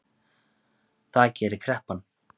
Það gerir kreppan